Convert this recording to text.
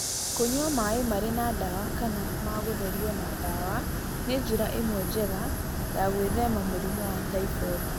Kũnyua maĩ marĩ na ndawa kana ma gũtherio na ndawa nĩ njĩra ĩmwe njega ya gwĩthema mũrimũ wa typhoid.